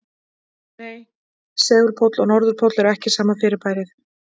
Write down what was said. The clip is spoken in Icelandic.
Nei, segulpóll og norðurpóll eru ekki sama fyrirbærið.